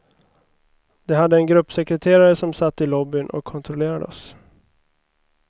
De hade en gruppsekreterare som satt i lobbyn och kontrollerade oss.